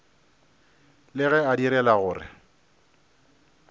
le ge a direla gore